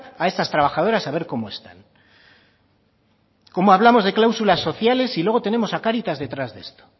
a esas trabajadoras a ver cómo están cómo hablamos de cláusulas sociales y luego tenemos a cáritas detrás de esto